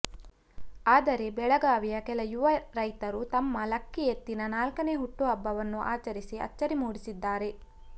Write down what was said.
ಆದರೆ ಬೆಳಗಾವಿಯ ಕೆಲ ಯುವ ರೈತರು ತಮ್ಮ ಲಕ್ಕಿ ಎತ್ತಿನ ನಾಲ್ಕನೆ ಹುಟ್ಟು ಹಬ್ಬವನ್ನು ಆಚರಿಸಿ ಅಚ್ಚರಿ ಮೂಡಿಸಿದ್ದಾರೆ